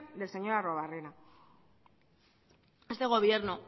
del señor arruebarrena este gobierno